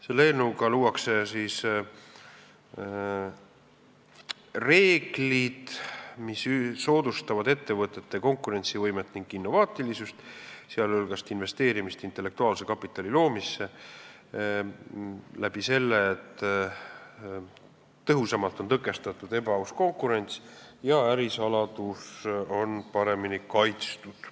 Selle eelnõuga luuakse reeglid, mis soodustavad ettevõtete konkurentsivõimet ning innovaatilisust, sh soodustavad investeerimist intellektuaalse kapitali loomisse sedakaudu, et tõhusamalt on tõkestatud ebaaus konkurents ja ärisaladus on paremini kaitstud.